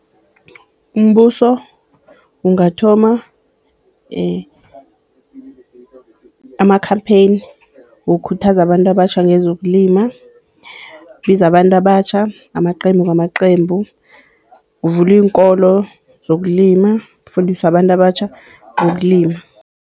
Umbuso ungathoma ama-campaign wokukhuthaza abantu abatjha ngezokulima, ubize abantu abatjha ngamaqembu ngamaqembu kuvulwe iinkolo zokulima, ufundiswe abantu abatjha ngokulima.